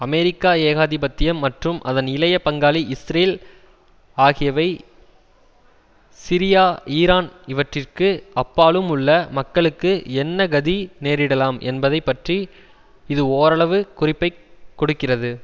America ஏகாதிபத்தியம் மற்றும் அதன் இளைய பங்காளி இஸ்ரேல் ஆகியவை சிரியா ஈரான் இவற்றிற்கு அப்பாலும் உள்ள மக்களுக்கு என்ன கதி நேரிடலாம் என்பதை பற்றி இது ஓரளவு குறிப்பை கொடுக்கிறது